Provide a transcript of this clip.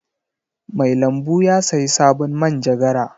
Mai lambu ya sayi sabon manjagara.